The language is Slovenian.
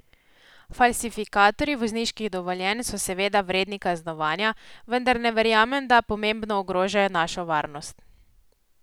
Falsifikatorji vozniških dovoljenj so seveda vredni kaznovanja, vendar ne verjamem, da pomembno ogrožajo našo varnost.